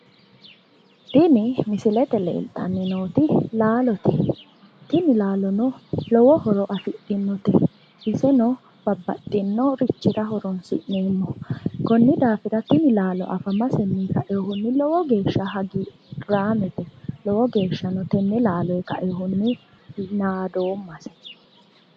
Tini misilete leeltanni nooti laalote. Tini laalono lowo horo afidhinote. Iseno babbaxxinnorichira horoonsi'neemmo. Konni daafira tini laalo afamasenni kaiwohunni lowo geeshsha hagiirraamete. Lowo geeshshano tenne laaloyi kainohunni naadoommase.